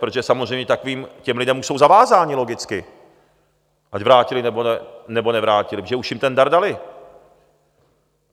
Protože samozřejmě těm lidem už jsou zavázáni logicky, ať vrátili, nebo nevrátili, protože už jim ten dar dali.